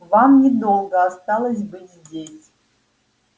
вам недолго осталось быть здесь